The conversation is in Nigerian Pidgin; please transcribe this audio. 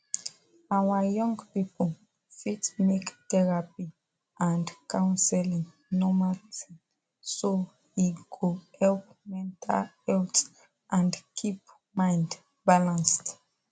our young people fit make therapy and counseling normal thing so e go help mental health and keep mind balanced